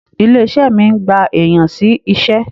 Ilé-iṣé mi ń gba èèyan sí iṣẹ́.